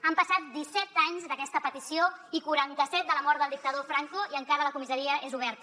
han passat disset anys d’aquesta petició i quaranta set de la mort del dictador franco i encara la comissaria és oberta